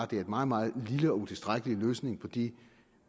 det er en meget meget lille og utilstrækkelig løsning på de